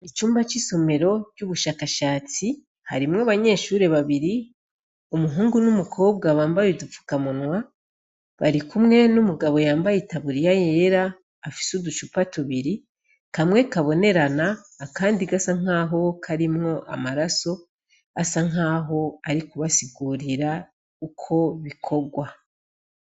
Icumba c'isomero ry'ubushakashatsi harimwo abanyeshuri babiri umuhungu n'umukobwa bambaye udupfukamunwa bari kumwe n'umugabo yambaye itaburiya yera afise uducupa tubiri kamwe kabonerana akandi gasa nkaho karimwo amaraso asa nk'aho ari kubasigurira uko bikogwa.